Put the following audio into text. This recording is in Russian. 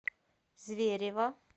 зверево